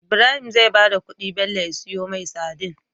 Ibrahim zai bada kudi Bello ya siyo mai sadin